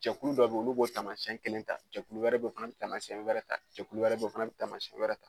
Jɛkulu dɔ bɛ yen olu b'o taamasiyɛn kelen ta jɛkulu wɛrɛ bɛ yen o fana bɛ taamasiyɛn wɛrɛ ta jɛkulu wɛrɛ bɛ yen o fana bɛ taamasiyɛn wɛrɛ ta